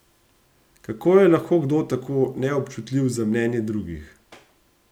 Kako je lahko kdo tako neobčutljiv za mnenje drugih?